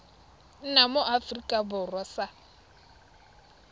nna mo aforika borwa sa